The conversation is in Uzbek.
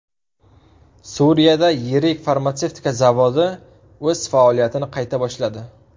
Suriyada yirik farmatsevtika zavodi o‘z faoliyatini qayta boshladi.